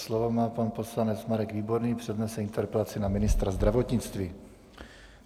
Slovo má pan poslanec Marek Výborný, přednese interpelaci na ministra zdravotnictví.